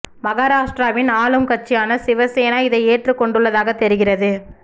மகாராஷ்டிராவின் ஆளும் கட்சியான சிவசேனா இதை ஏற்றுக் கொண்டுள்ளதாகத் தெரிகிறது